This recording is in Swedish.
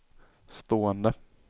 stående